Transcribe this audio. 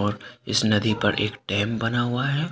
और इसे नदी पर एक डैम बना हुआ है।